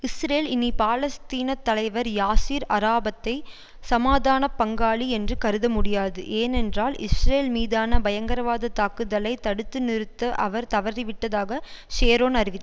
Israel இனி பாலஸ்தீனத் தலைவர் யாசீர் அரஃபத்தை சமாதான பங்காளி என்று கருதமுடியாது ஏனென்றால் இஸ்ரேல் மீதான பயங்கரவாத தாக்குதலை தடுத்து நிறுத்த அவர் தவறிவிட்டதாக ஷரோன் அறிவி